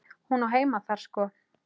Hún á heima þar sko.